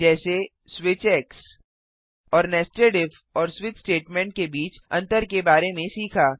जैसे स्विच और nested if और स्विच स्टेटमेंट के बीच अंतर के बारे में सीखा